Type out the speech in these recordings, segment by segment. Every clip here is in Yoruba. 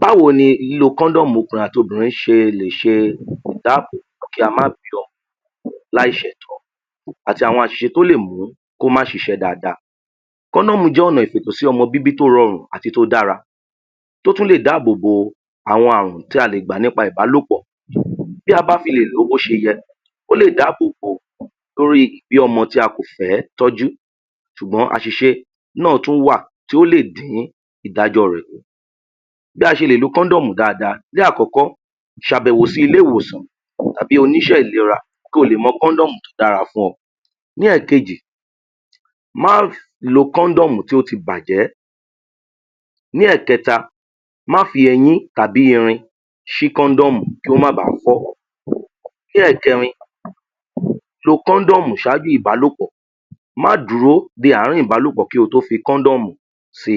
Báwo ni lílo kóndómù ọkùnrin àti obìnrin ṣe lè ṣe ìdábòbò kí a má bí ọmọ lá ì ṣètó àti àwọn àsìṣe tó lè mú ko ́ má ṣiṣẹ́ daada kọ́ndọ̀mú jẹ́ ọ̀nà ìfètò sọ́mọ tó ro rù àti tó dára tó tún lè dábòbò àwọn àrùn tí a lè gbà nípa ìbálópọ̀ um bí a má fi ló bí ó ti yẹ ó lè dábòbò lórí ìbí ọmọ tí a kò fẹ́ ìtọ́jú sùgbón àsìṣe náà tun wà tí ó lè dí ìdàjọ́ rẹ̀ kù bí a ṣe lo kọ́ndọ̀mù dáadáa ní àkọ́kọ́ sàbẹ̀wò sí ilé - ìwòsàn tàbí oní iṣẹ́ ìlera kolè mọ kọ́ndọ̀mu tó dára fún ọ ní ẹ̀kejì má lo kọ́ndọ̀mù tí ó ti bàjẹ́ ní ẹ̀kẹ̀ta má fi eyín tàbí irin já sí kọ́ndọ̀mù kó má bà fọ́ ní ẹ̀kẹrin lo kọ́ndọ̀mù sáajú ìbálòpọ̀ má dúró de àárín ìbàlòpọ̀ kí o tó wọ kọ́ndọ̀mú se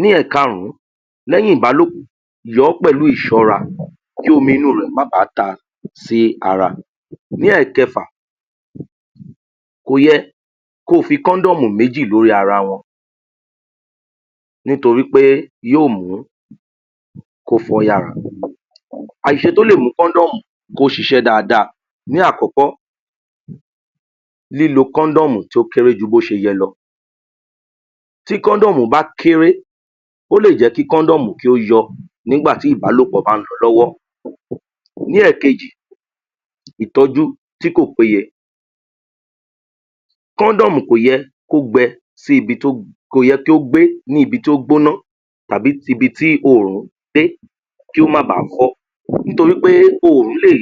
ní ẹ̀karún lẹ́yìn ìbálòpọ̀ yọọ́ pẹ̀lú ìsọ́ra kí omi inú rẹ̀ má bá ta sí ara ní ẹ̀kẹfà kò yẹ ko fi kọ́ndọ̀mù mẹ́jì lórí ara wọn nítorí pé yó mú kó fọ́ yára àsìse tó lèmú kọ àsìse tó lè mú kọ́ndọ̀mú ó siṣẹ́ dáadáa ní àkọ́kọ́ lílo kọ́ndọ̀mú tó kéré ju bí ó ṣe yẹ lo tí kọ́ndọ̀mù bá kéré ó lè jẹ́ kí kọ́ndọ̀mù yọ nígbàtí ìbálòpọ̀ bá lo lọ́wọ́ ní ẹ̀kẹjì ìtọ́jú tí kò pé ye kọ́ndọ̀mú kò yẹ kó gbẹ sí bi tó kò yẹ kó gbé ibi tí ó gbóná tàbí ti bi tí òrù dé kó má ba fọ́ nítorí pé òrù lè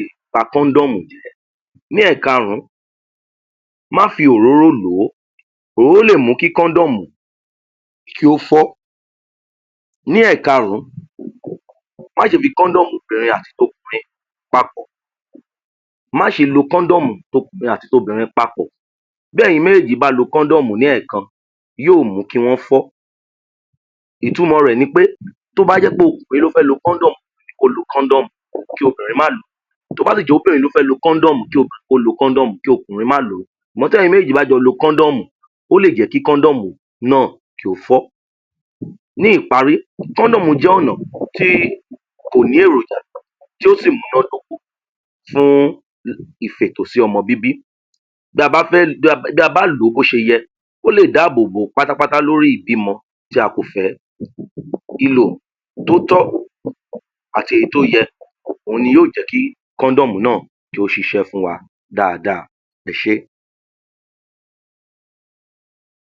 kọ́ndọ̀mù ní ẹ̀karún má fi òróró lò ó o ́ lè kí kọ́ndọ̀mù kí ó fọ́ ní ẹ̀karún má ṣe fi kọ́ndọ̀mu bẹ̀rẹ̀??? papọ̀ má ṣe lo kọ́ndọ̀mù tokùnrin àti tobìnrin papọ̀ bí eyìn méjèjì bá lo kọ́ndọ̀mù ní ẹ̀kan yóò mú kí wọ́n fọ́ ìtumọ̀ rẹ̀ ni wí pe tó bá jẹ́ okùrin ló fẹ́ lo kọ́ndọ̀mù kó lo kọ́ndọ̀mu kí obìnrin má lo tó bá sì jẹ́ obìrin ló fẹ́ lo kọ́ndọ̀mù, kí obìnrin lo kí okùnrin má lo sùgbón tí ẹ̀yin méjèjì bá jọ lo kọ́ndọ̀mù ó lè jẹ́ kí kọ́ndọ̀mù náà kó fọ́ ní ìparí kọ́ndọ̀mù jẹ́ ọ̀nà tí kò ní èròjà yó sì múná dóko fún ìfètò sí ọmọ bíbí bí a bá fẹ́ lo, bí a bá lò ó bí ó ti yẹ ó lè dá bòbò pátápátá lórí ìbímọ tí a kò fẹ́ ìlò tó tọ́ àti èyí tó yẹ òun ni yóò jẹ́ kí kọ́ndọ̀mù náà kí ó ṣiṣẹ́ fún wa dáadáa ẹṣẹ́